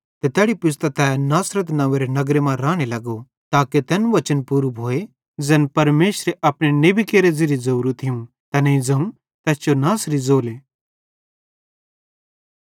ते तैड़ी पुज़तां तै नासरत नंव्वेरे नगर मां राने लगो ताके तैन वचन पूरू भोए ज़ैन परमेशरे अपने नेबी केरे ज़िरिये ज़ोरो थियूं तैनेईं ज़ोवं तैस जो नासरी ज़ोले